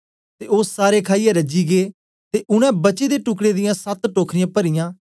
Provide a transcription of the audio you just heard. ते ओ सारे खाईयै रजी गै ते उनै बचे दे टुकड़े दियां सत टोखरियां परीयां